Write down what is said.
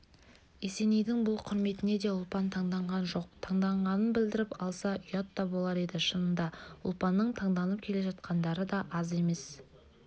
есенейдің бұл құрметіне де ұлпан таңданған жоқ таңданғанын білдіріп алса ұят та болар еді шынында ұлпанның таңданып келе жатқандары да аз емес